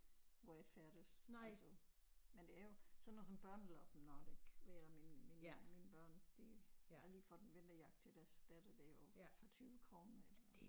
Hvor jeg færdes altså men der er jo sådan noget som Børneloppen nok ikke vil jeg da mene min min mine børn de har lige fået en vinterjakke til deres datter derovre for 20 kroner eller